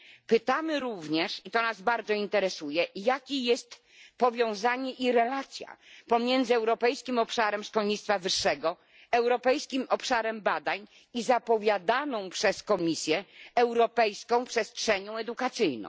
Pytamy również i to nas bardzo interesuje jakie jest powiązanie i relacja pomiędzy Europejskim Obszarem Szkolnictwa Wyższego, Europejskim Obszarem Badań i zapowiadaną przez Komisję Europejską Przestrzenią Edukacyjną?